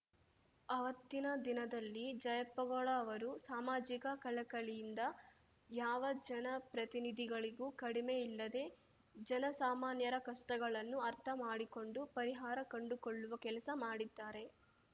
ಆವತ್ತಿನ ದಿನದಲ್ಲಿ ಜಯಪ್ಪಗೌಡ ಅವರು ಸಾಮಾಜಿಕ ಕಳಕಳಿಯಿಂದ ಯಾವ ಜನಪ್ರತಿನಿಧಿಗಳಿಗೂ ಕಡಿಮೆಯಿಲ್ಲದೇ ಜನಸಾಮಾನ್ಯರ ಕಷ್ಟಗಳನ್ನು ಅರ್ಥ ಮಾಡಿಕೊಂಡು ಪರಿಹಾರ ಕಂಡುಕೊಳ್ಳುವ ಕೆಲಸ ಮಾಡಿದ್ದಾರೆ